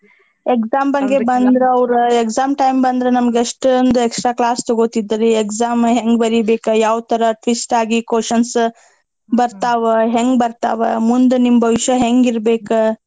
Exam ಬಂದ್ರ್ ಅವ್ರ exam time ಬಂದ್ರ ನಮಗ್ ಎಷ್ಟೋಂದ್ extra class ತೊಗೋತಿದ್ರರೀ exam ಹೆಂಗ್ ಬರೀಬೇಕ ಯಾವ್ ತರಾ twist ಆಗಿ questions ಬರ್ತಾವ ಹೆಂಗ್ ಬರ್ತಾವ ಮುಂದ್ ನಿಮ್ ಭವಿಷ್ಯ ಹೆಂಗ್ ಇರ್ಬೇಕ.